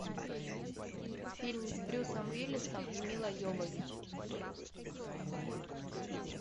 фильм с брюсом уиллисом и милой йовович